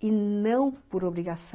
e não por obrigação.